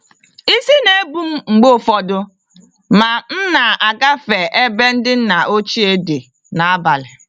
Isi n'ebum mgbe ụfọdụ ma m na-agafe ebe ndị nna ochie dị n'abalị.